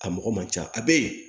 A mɔgɔ man ca a bɛ yen